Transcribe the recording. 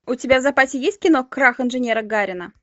у тебя в запасе есть кино крах инженера гарина